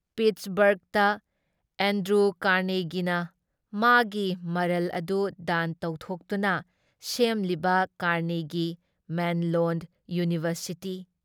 ꯄꯤꯠꯁꯕꯔꯒꯇ Andrew ꯀꯥꯔꯅꯦꯒꯤꯅ ꯃꯥꯒꯤ ꯃꯔꯜ ꯑꯗꯨ ꯗꯥꯟ ꯇꯧꯊꯣꯛꯇꯨꯅ ꯁꯦꯝꯂꯤꯕ ꯀꯥꯔꯅꯦꯒꯤ ꯃꯦꯜꯂꯣꯟ ꯏꯌꯨꯅꯤꯚꯔꯁꯤꯇꯤ,